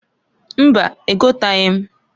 Mbaǃ Egotaghi m.